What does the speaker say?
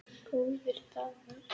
Góðir dagar.